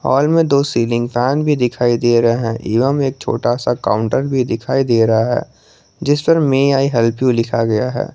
हाल में दो ceiling fan भी दिखाई दे रहा है एवं एक छोटा सा काउंटर भी दिखाई दे रहा है जिस पर मे आई हेल्प यू लिखा गया है।